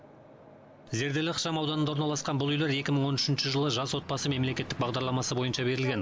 зерделі ықшамауданында орналасқан бұл үйлер екі мың он үшінші жылы жас отбасы мемлекеттік бағдарламасы бойынша берілген